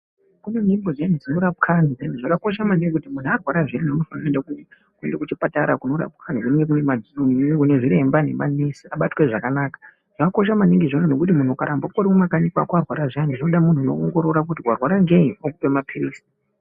Kune nzvimbo dzinorapwa antu. Zvakakosha maningi kuti muntu arwara zviyani kuenda ku kuenda kuchipatara kunorapwa antu. Kunaana zviremba nemanesi abatwa zvakanaka. Zvakakosha maningi izvozvo ngekuti muntu ukaramba uri mumakanyi kwako warwara zviyani. Zvinoda muntu unoongorora kuti warwara ngei okupa mapilizi.